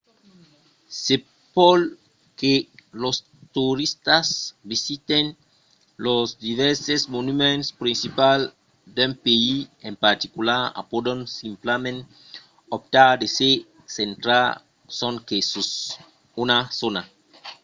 se pòt que los toristas visiten los divèrses monuments principals d’un país en particular o pòdon simplament optar de se centrar sonque sus una zòna